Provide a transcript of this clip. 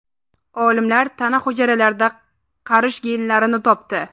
Olimlar tana hujayralarida qarish genlarini topdi.